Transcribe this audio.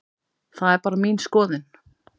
Það er bara mín skoðun.